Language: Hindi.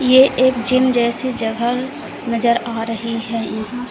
ये एक जिम जैसी जगह नजर आ रही है।